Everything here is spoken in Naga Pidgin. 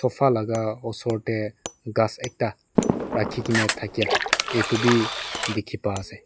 sofa laka osor dae kas ekta raki kina takya etu bi tiki ba ase.